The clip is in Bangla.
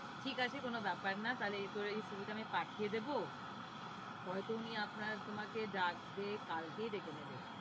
ঠিক আছে কোনো ব্যাপার না, তাহলে তোর এই CV টা আমি পাঠিয়ে দেবো হয়তো উনি আপনার তোমাকে ডাকবে, কালকেই ডেকে নেবে।